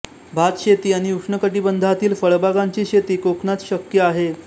भात शेती आणि उष्णकटिबंधातील फळबागांची शेती कोकणात शक्य आहे